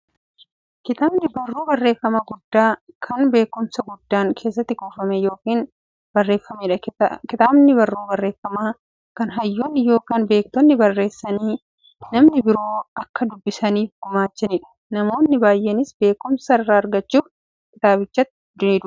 Kitaabni barruu barreeffamaa guddaa, kan beekumsi guddaan keessatti kuufame yookiin barreefameedha. Kitaabni barruu barreeffamaa, kan hayyoonni yookiin beektonni barreessanii, namni biroo akka dubbisaniif gumaachaniidha. Namoonni baay'eenis beekumsa irraa argachuuf kitaabicha nidubbisu.